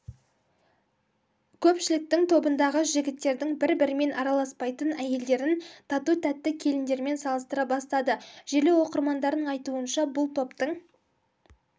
көпшілік тобындағы жігіттердің бір-бірімен араласпайтын әйелдерін іі тату-тәтті келіндермен салыстыра бастады желі оқырмандарының айтуынша бұл топтың